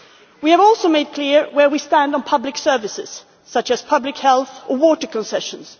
We have also made clear where we stand on public services such as public health and water concessions.